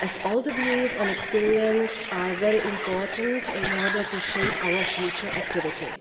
as all their views and experience are very important in terms of shaping our future activity.